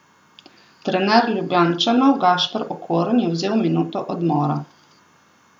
Trener Ljubljančanov Gašper Okorn je vzel minuto odmora.